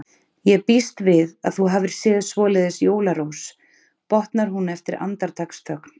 Ég býst við að þú hafir séð svoleiðis jólarós, botnar hún eftir andartaksþögn.